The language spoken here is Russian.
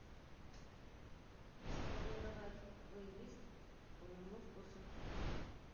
сформировать плейлист по моему вкусу